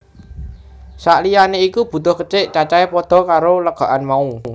Sak liyané iku butuh kecik cacahé padha karo legokan mau